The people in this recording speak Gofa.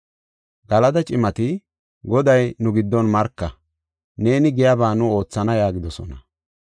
Galada cimati, “Goday nu giddon marka; neeni giyaba nu oothana” yaagidosona.